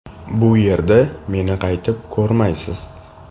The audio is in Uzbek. Bu yerda meni qaytib ko‘rmaysiz.